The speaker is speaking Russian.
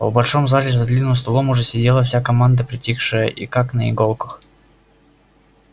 в большом зале за длинным столом уже сидела вся команда притихшая и как на иголках